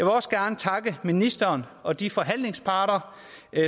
også gerne takke ministeren og de forhandlingsparter